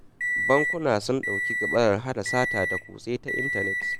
Bankuna sun ɗauki gaɓaran hana sata da kutse ta intanet.